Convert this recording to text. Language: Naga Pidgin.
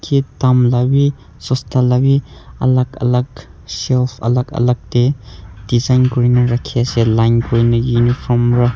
dam la bhi saatsa la bhi alak alak shelf alak alak dae design kurina rakhi ase line kurineh uniform para--